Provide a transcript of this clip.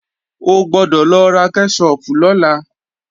O gbọ́dọ̀ lọ ra kẹ́ṣọpù lọ́la!